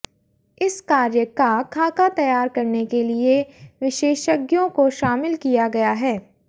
इस कार्य का खाका तैयार करने के लिए विशेषज्ञों को शामिल किया गया है